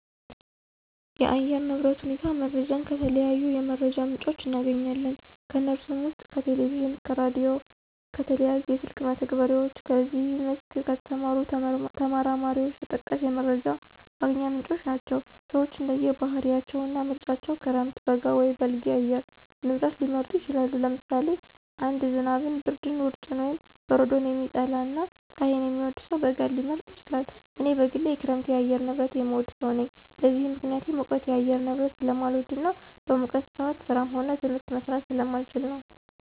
የአየር ንብረት ሁኔታ መረጃን ከተለያዩ የመረጃ ምንጮች እናገኛለን። ከነሱም ውስጥ ከቴሌቪዥን፣ ከራዲዮ፣ ከተለያዩ የስልክ መተግበሪያዎች በዚህ መስክ ከተሰማሩ ተመራማሪዎች ተጠቃሽ የመረጃ ማግኛ ምንጮች ናቸው። ሰወች እንደየ ባህሪያቸው እና ምርጫቸው ክረምት፣ በጋ ወይም በልግ የአየር ንብረት ሊመርጡ ይችላሉ። ለምሳሌ አንድ ዝናብን፣ ብርድን፣ ውርጭን ወይም በረዶን የሚጠላ እና ፀሀይን የሚወድ ሰው በጋን ሊመርጥ ይችላል። እኔ በግሌ የክረምት የአየር ንብረትን የምወድ ሰው ነኝ። ለዚህም ምክንያቴ ሙቀት የአየር ንብረትን ስለማልወድ እና በሙቀት ሰአት ስራም ሆነ ትምህርት መስራት ስለማልችል ነው።